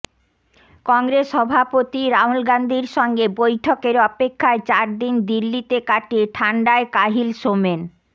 কংগ্রেস সভাপতি রাহুল গাঁধীর সঙ্গে বৈঠকের অপেক্ষায় চার দিন দিল্লিতে কাটিয়ে ঠান্ডায় কাহিল সোমেন